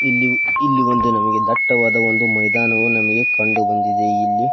ಇಲ್ಲಿ ಇಲ್ಲಿ ಒಂದು ನಮಗೆ ದಟ್ಟವಾದ ಒಂದು ಮೈದಾನ ನಮಗೆ ಕಂಡುಬಂದಿದೆ ಇಲ್ಲಿ .